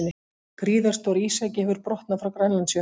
Gríðarstór ísjaki hefur brotnað frá Grænlandsjökli